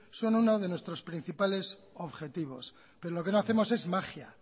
son uno de nuestros principales objetivos pero lo que no hacemos es magia